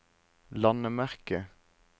landemerke